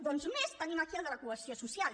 doncs més tenim aquí el de la cohesió social